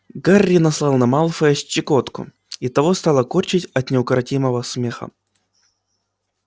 гарри наслал на малфоя щекотку и того стало корчить от неукротимого смеха